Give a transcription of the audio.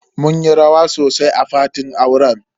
Mun yi rawa sosai a fatin auren.